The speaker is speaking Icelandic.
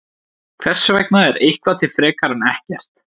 Hvers vegna er eitthvað til frekar en ekkert?